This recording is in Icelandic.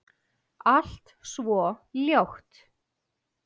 Allt svo ljótt.